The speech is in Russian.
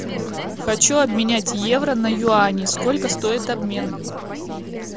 хочу обменять евро на юани сколько стоит обмен